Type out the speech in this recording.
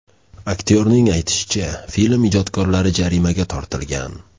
Aktyorning aytishicha, film ijodkorlari jarimaga tortilgan.